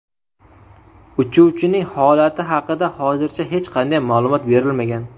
Uchuvchining holati haqida hozircha hech qanday ma’lumot berilmagan.